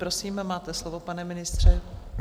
Prosím, máte slovo, pane ministře.